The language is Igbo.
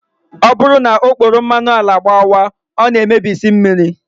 Ọ bụrụ na okporo mmanụ ala gbawaa, ọ na-emebisi mmiri